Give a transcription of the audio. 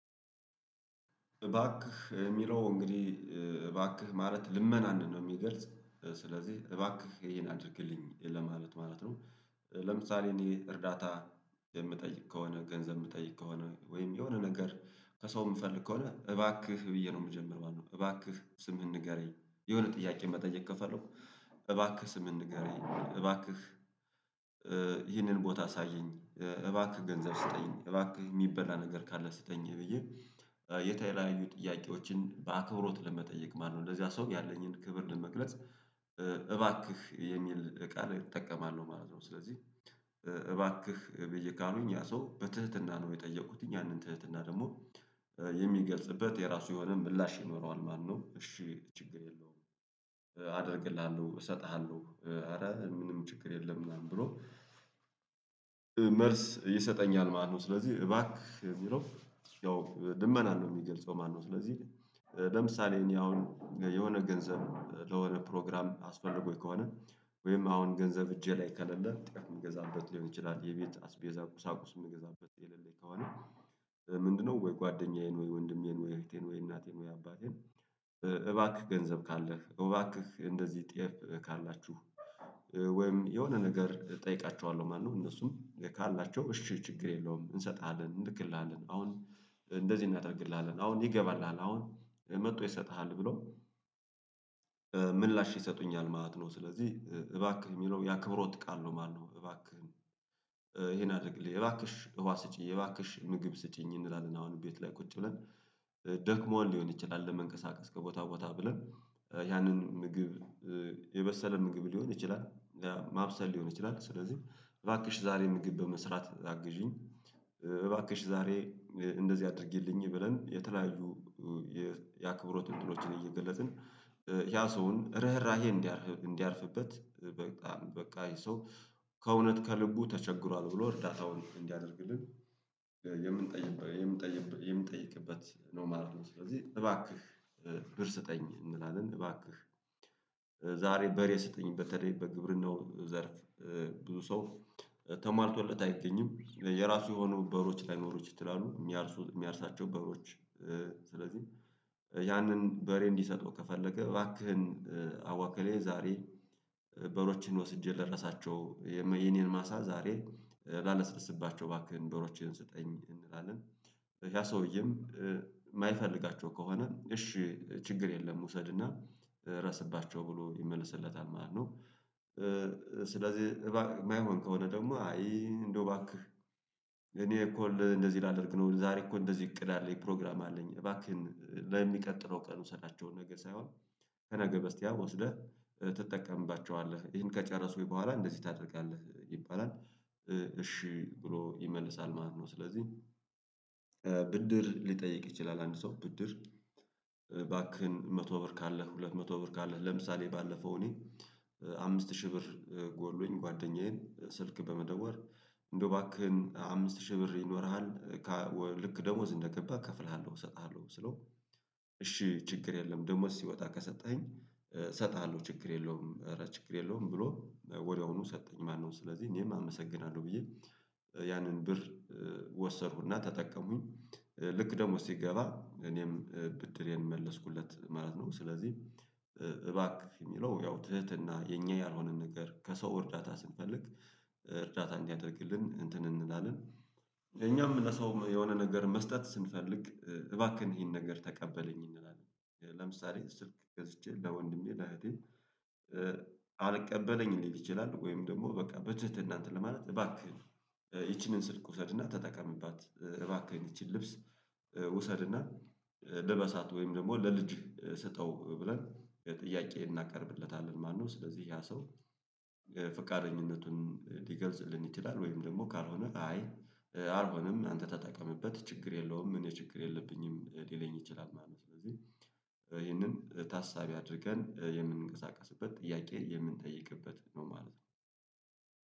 እባክህ የሚለው እንግዲህ እባክህ ማለት ልመናን ነው የሚገልጽ ስለዚህ እባክህ ይህን አድርግልኝ ለማለት ማለት ነው። ለምሳሌ እኔ እርዳታ የምጠይቅ ከሆነ ገንዘብ የምጠይቅ ከሆነ ወይም የሆነ ነገር ከሰው የምፈልግ ከሆነ እባክህ ብዬ ነው የምጀምረው። እባክህ ስምህን ንገረኝ የሆነ ጥያቄ መጠየቅ ከፈለኩ። እባክህ ስምህን ንገረኝ እባክህ ይህንን ቦታ አሳየኝ እባክህ ገንዘብ ስጠኝ እባክህ የሚበላ ነገር ካለ ስጠኝ ብዬ የተለያዩ ጥያቄዎችን በአክብሮት ለመጠየቅ ማለት ነው። ለዚያ ሰው ያለኝን ክብር ለመግለጽ እባክህ የሚል ቃል እጠቀማለሁ ማለት ነው። ስለዚህ እባክህ ብዬ ካልኩኝ ያ ሰው በትህትና ነው የጠየኩትኝ ያንን ትህትና ደግሞ የሚገልጽበት የራሱ የሆነ ምላሽ ይኖረዋል ማለትነው። እሺ ችግር የለውም። አደርግልሃለሁ እሰጥሃለሁ ኧረ ምንም ችግር የለም ምናምን ብሎ መልስ ይሰጠኛል ማለትነው። ስለዚህ እባክህ የሚለው ያው ልመናን ነው የሚገልጸው ማነው? ስለዚህ ለምሳሌ እኔ አሁን የሆነ ገንዘብ ለሆነ ፕሮግራም አስፈልጎኝ ከሆነ ወይም አሁን ገንዘብ እጄ ላይ ከሌለ ጤፍ የምገዛበት ሊሆን ይችላል የቤት አስቤዛ ቁሳቁስ የምገዛበት የሌለኝ ከሆነ ምንድነው ወይ ጓደኛዬን ወይ ወንድሜን ወይ እህቴን ወይ እናቴን ወይ አባቴን እባክህ ገንዘብ ካለህ እባክህ እንደዚህ ጤፍ ካላችሁ ወይም የሆነ ነገር እጠይቃችኋለሁ ማለት ነው። እነሱም ካላቸው እሺ ችግር የለውም እንሰጥሃለን እንልክልሃለን አሁን እንደዚህ እናደርግልሃለን አሁን ይገባልሃል አሁን መጥቶ ይሰጥሃል ብሎ ምላሽ ይሰጡኛል ማለት ነው። ስለዚህ እባክህ የሚለው ያክብሮት ቃል ነው ማለት ነው። እባክህን ይሄን አድርግልኝ እባክሽ ውሃ ስጪኝ እባክሽ ምግብ ስጪኝ እንላለን አሁን ቤት ላይ ቁጭ ብለን ደክሞን ሊሆን ይችላል። ለመንቀሳቀስ ከቦታ ቦታ ብለን ያንን ምግብ የበሰለ ምግብ ሊሆን ይችላል ማብሰል ሊሆን ይችላል። ስለዚህ እባክሽ ዛሬ ምግብ በመስራት አግዢኝ። እባክሽ ዛሬ እንደዚህ አድርጊልኝ ብለን የተለያዩ የአክብሮት እንትኖችን እየገለጽን ያ ሰውን ርህራሄ እንዲያርፍ እንዲያርፍበት በቃ በቃ ይሄ ሰው ከእውነት ከልቡ ተቸግሯል ብሎ እርዳታውን እንዲያደርግልን የምንጠይቅበት ነው ማለት ነው። ስለዚህ እባክህ ብር ስጠኝ እንላለን። እባክህ ዛሬ በሬ ስጠኝ በተለይ በግብርናው ዘርፍ ብዙ ሰው ተሟልቶለት አይገኝም የራሱ የሆኑ በሮች ላይኖሩት ይችላሉ። የሚያርሱ የሚያርሳቸው በሮች ስለዚህ ያንን በሬ እንዲሰጠው ከፈለገ እባክህን አዋ እክሌ ዛሬ በሮችን ወስጄ ልረሳቸው የኔን ማሳ ዛሬ ላለስልስባቸው ባክህ በሮችን ስጠኝ እንላለን። ያ ሰውዬም የማይፈልጋቸው ከሆነ እሺ ችግር የለም ውሰድና ረስባቸው ብሎ ይመልስለታል ማለት ነው። ስለዚህ እባ የማይሆን ከሆነ ደግሞ አይ እንደው ባክህ እኔ እኮ እንደዚህ እንደዚህ ላደርግ ነው ዛሬ እኮ እንደዚህ እቅድ አለኝ ፕሮግራም አለኝ እባክህን ለሚቀጥለው ቀን ውሰዳቸውን ነገ ሳይሆን ከነገ በስቲያ ወስደህ ትጠቀምባቸዋለህ ይህን ከጨረስኩኝ በኋላ እንደዚህ ታደርጋለህ ይባላል እሺ ብሎ ይመልሳል ማለት ነው። ስለዚህ ብድር ሊጠይቅ ይችላል። አንድ ሰው ብድር እባክህን መቶ ብር ካለህ ሁለት መቶ ብር ካለህ ለምሳሌ ባለፈው እኔ አምስት ሺህ ብር ጎሎኝ ጓደኛዬን ስልክ በመደወል እንደው እባክህን አምስት ሺህ ብር ይኖርሃል ልክ ደሞዝ እንደገባ እከፍልሃለሁ እሰጥሃለሁ ስለው እሺ ችግር የለም ደሞዝ ሲወጣ ከሰጠኸኝ እሰጥሃለሁ ችግር የለውም እረ ችግር የለውም ብሎ ወዲያውኑ ሰጠኝ ማለትነው። ስለዚህ እኔም አመሰግናለሁ ብዬ ያንን ብር ወሰድኩና ተጠቀምኩኝ ልክ ደሞዝ ሲገባ እኔም ብድሬን መለስኩለት ማለት ነው። ስለዚህ እባክህ የሚለው ያው ትህትና የእኛ ያልሆነን ነገር ከሰው እርዳታ ስንፈልግ እርዳታ እንዲያደርግልን እንትን እንላለን። እኛም ለሰው የሆነ ነገር መስጠት ስንፈልግ እባክህን ይሄን ነገር ተቀበለኝ እንላለን። ለምሳሌ ስልክ ገዝቼ ለወንድሜ ለእህቴ አልቀበለኝ ሊል ይችላል ወይም ደግሞ በቃ በትህትና እንትን ለማለት እባክህ ይቺንን ስልክ ውሰድና ተጠቀምባት እባክህ ይቺን ልብስ ውሰድና ልበሳት ወይም ደግሞ ለልጅ ስጠው ብለን ጥያቄ እናቀርብለታለን ማለትነው። ስለዚህ ያ ሰው ፍቃደኝነቱን ሊገልጽልን ይችላል ወይም ደግሞ ካልሆነ አይ አልሆንም አንተ ተጠቀምበት ችግር የለውም እኔ ችግር የለብኝም ሊለኝ ይችላል ማለት ነው። ስለዚህ ይሄንን ታሳቢ አድርገን የምንቀሳቀስበት ጥያቄ የምንጠይቅበት ነው ማለት ነው